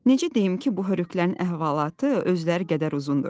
Necə deyim ki, bu hörükələrinin əhvalatı özləri qədər uzundur.